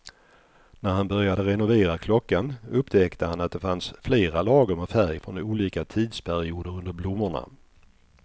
När han började renovera klockan upptäckte han att det fanns flera lager med färg från olika tidsperioder under blommorna.